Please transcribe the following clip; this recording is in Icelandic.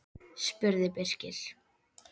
spurði Birkir.